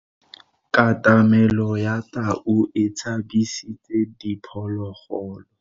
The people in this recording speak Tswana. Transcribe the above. Katamelo ya tau e tshabisitse diphologolo.